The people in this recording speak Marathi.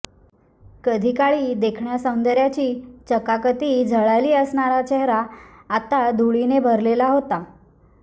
कधी काळी देखण्या सौंदर्याची चकाकती झळाळी असणारा चेहरा आता धुळीने भरलेला होता